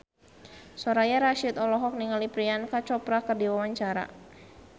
Soraya Rasyid olohok ningali Priyanka Chopra keur diwawancara